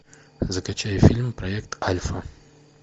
закачай фильм проект альфа